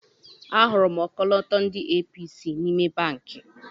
Ahụrụ m ọkọlọtọ ndị APC n'ime banki.